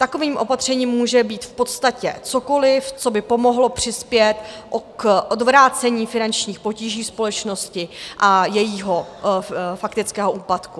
Takovým opatřením může být v podstatě cokoliv, co by pomohlo přispět k odvrácení finančních potíží společnosti a jejího faktického úpadku.